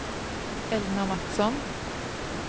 Elna Matsson